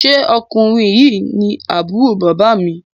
ṣe Ọkùnrin yí ní Àbúrò bàbá mi?